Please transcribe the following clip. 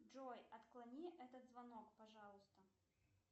джой отклони этот звонок пожалуйста